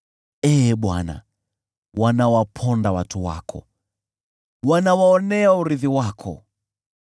Ee Bwana , wanawaponda watu wako, wanawaonea urithi wako.